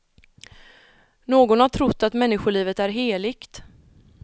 Någon har trott att människolivet är heligt.